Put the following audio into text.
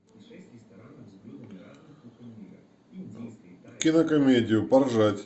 кинокомедию поржать